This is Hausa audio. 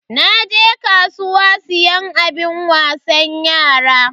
Naje kasuwa siyan abun wasan yara.